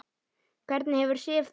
Hvernig hefur Sif það?